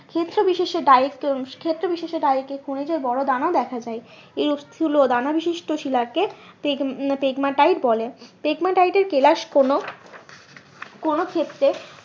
ক্ষেত্র বিশেষে ক্ষেত্র বিশেষে খনিজের বড়ো দানা দেখা যায় এই দানা বিশিষ্ট্য শিলাকে বলে এর কেলাস কোনো কোনো ক্ষেত্রে